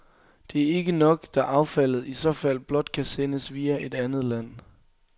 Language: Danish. Det er ikke nok, da affaldet i så fald blot kan sendes via et andet land.